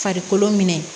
Farikolo minɛ